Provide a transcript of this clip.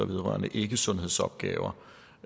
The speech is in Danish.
vedrørende ikkesundhedsopgaver